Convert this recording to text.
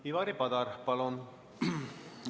Ivari Padar, palun!